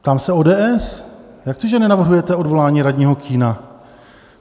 Ptám se ODS: Jak to, že nenavrhujete odvolání radního Kühna?